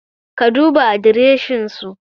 Ka duba adreshin su